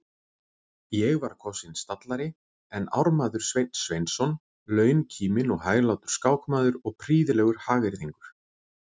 Ég var kosinn stallari en ármaður Sveinn Sveinsson, launkíminn og hæglátur skákmaður og prýðilegur hagyrðingur.